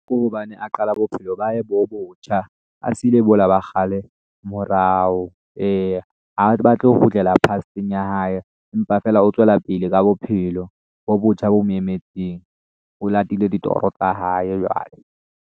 Ke hobane a qala bophelo ba hae bo botjha, a siile bola ba kgale morao. Eya ha batle ho kgutlela past-eng ya hae mpa feela o tswela pele ka bophelo bo botjha bo mo emetseng, o latile ditoro tsa hae jwale.